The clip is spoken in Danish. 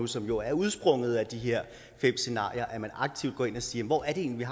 som jo er udsprunget af de her fem scenarier er at man aktivt går ind og siger hvor er det egentlig